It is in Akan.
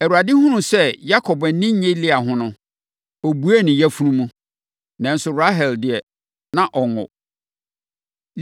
Awurade hunuu sɛ Yakob ani nnye Lea ho no, ɔbuee ne yafunu mu, nanso Rahel deɛ, na ɔnwo.